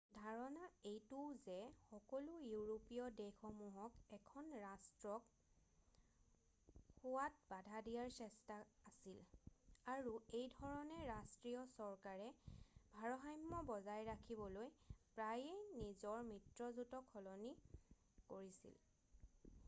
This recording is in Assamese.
"ধাৰণা এইটোও যে সকলো ইউৰোপীয় দেশসমূহক এখন ৰাষ্ট্ৰক হোৱাত বাধা দিয়াৰ চেষ্টা আছিল আৰু এইধৰণে ৰাষ্ট্ৰীয় চৰকাৰে ভাৰসাম্য বজাই ৰাখিবলৈ প্ৰায়েই নিজৰ মিত্ৰজোটক সলনি কৰিছিল ।""